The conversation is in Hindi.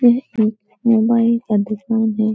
यह एक मोबाइल का दुकान है |